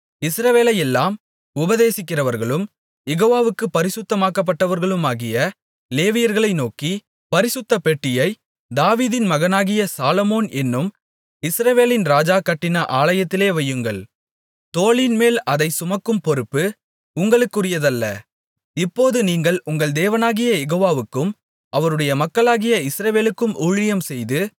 இஸ்ரவேலையெல்லாம் உபதேசிக்கிறவர்களும் யெகோவாவுக்குப் பரிசுத்தமாக்கப்பட்டவர்களுமாகிய லேவியர்களை நோக்கி பரிசுத்தப்பெட்டியை தாவீதின் மகனாகிய சாலொமோன் என்னும் இஸ்ரவேலின் ராஜா கட்டின ஆலயத்திலே வையுங்கள் தோளின்மேல் அதை சுமக்கும் பொறுப்பு உங்களுக்குரியதல்ல இப்போது நீங்கள் உங்கள் தேவனாகிய யெகோவாவுக்கும் அவருடைய மக்களாகிய இஸ்ரவேலுக்கும் ஊழியம்செய்து